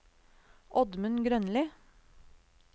Oddmund Grønli